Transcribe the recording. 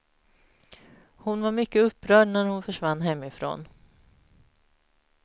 Hon var mycket upprörd när hon försvann hemifrån.